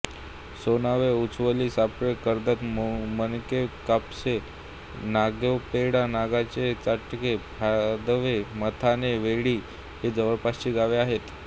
सोनावे उछवली सफाळे कर्दळ माकणेकापसे नगावेपाडा नगावे चटाळे भादवे मथाणे वेढी ही जवळपासची गावे आहेत